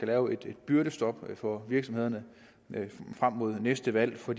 lave et byrdestop for virksomhederne frem mod næste valg for